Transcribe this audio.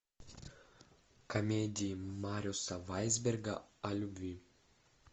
комедии марюса вайсберга о любви